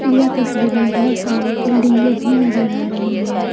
यह तस्वीर में बहुत सारी बिल्डिंगे भी नजर आ रही हैं।